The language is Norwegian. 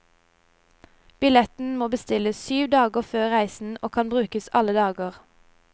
Billetten må bestilles syv dager før reisen og kan brukes alle dager.